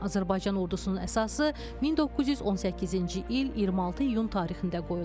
Azərbaycan ordusunun əsası 1918-ci il 26 iyun tarixində qoyulub.